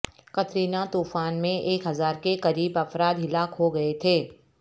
Katrina طوفان میں ایک ہزار کے قریب افراد ہلاک ہوگئے تھے